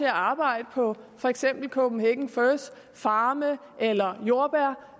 at arbejde på for eksempel kopenhagen furs farme eller i jordbærmarker